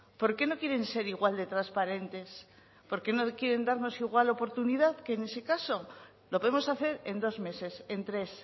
por qué no quieren ser igual de transparentes por qué no quieren darnos igual oportunidad que en ese caso lo podemos hacer en dos meses en tres